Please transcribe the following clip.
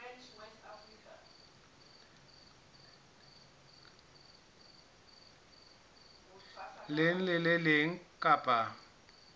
leng le le leng kapa